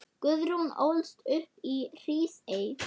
Guðrún ólst upp í Hrísey.